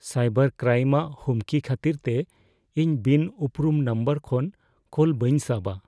Cyber crime ᱟᱜ ᱦᱩᱢᱠᱤ ᱠᱷᱟᱹᱛᱤᱨ ᱛᱮ ᱤᱧ ᱵᱤᱱ ᱩᱯᱨᱩᱢ ᱱᱟᱢᱵᱟᱨ ᱠᱷᱚᱱ ᱠᱚᱞ ᱵᱟᱹᱧ ᱥᱟᱵᱟ ᱾